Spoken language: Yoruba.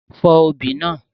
Fọ́ obì náà!